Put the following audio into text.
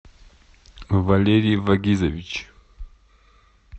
валерий вагизович